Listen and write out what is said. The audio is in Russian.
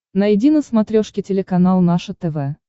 найди на смотрешке телеканал наше тв